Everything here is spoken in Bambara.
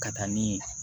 Ka taa ni